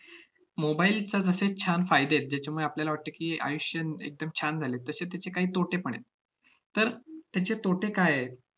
mobile चा जसे छान फायदे आहेत, ज्याच्यामुळे आपल्याला वाटतं की, आयुष्य एकदम छान झालंय, तसे तेचे काही तोटेपण आहेत. तर, त्याचे तोटे काय आहेत